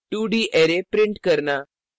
2d array print करना